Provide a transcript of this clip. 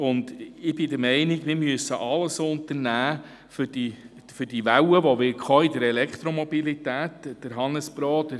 Ich bin der Meinung, wir müssten alles unternehmen, um auf die Welle, die in der Elektromobilität kommen wird, vorbereitet zu sein.